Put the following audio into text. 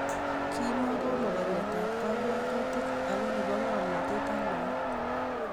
Kimuko mogoriotab kabwatutik ako nebo ngomnatet ak naet